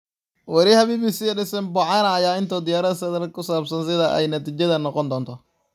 Weriyaha BBC-da Yves Bucyana ayaa inoo diyaariyay saadaal ku saabsan sida ay natiijada noqon doonto.